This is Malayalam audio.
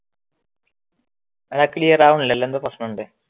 ക്ലിയർ ആവുനില്ലല്ലോ എന്തോ പ്രശ്നമുണ്ട്